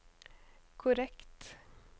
korrekt